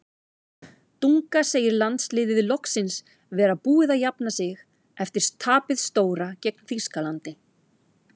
Dunga segir landsliðið loksins vera búið að jafna sig eftir tapið stóra gegn Þýskalandi.